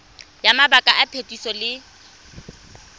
ya mabaka a phetiso le